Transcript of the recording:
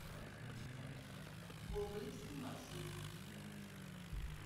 гоголевский маршрут